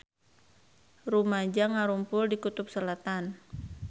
Rumaja ngarumpul di Kutub Selatan